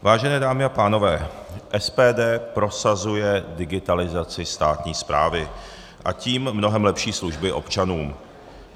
Vážené dámy a pánové, SPD prosazuje digitalizaci státní správy, a tím mnohem lepší služby občanům.